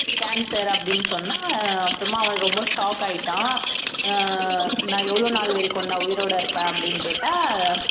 cancer அப்படின்னு சொன்னா அப்புறமா அவன் ரொம்ப shock ஆயிட்டான் அஹ் நான் எவ்வளவு நாள் வரைக்கும்டா உயிரோட இருப்பேன் அப்படின்னு கேட்டா